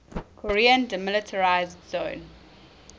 korean demilitarized zone